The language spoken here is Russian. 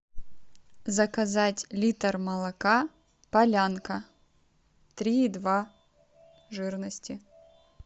заказать литр молока полянка три и два жирности